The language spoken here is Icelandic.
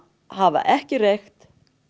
hafa ekki reykt